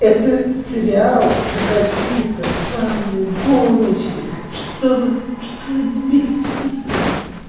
это сериал про какие-то самые гоночки что за что за дебилизм